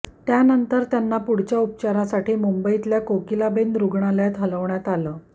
त्यानंतर त्यांना पुढच्या उपचारासाठी मुंबईतल्या कोकिलाबेन रूग्णालयात हलवण्यात आलं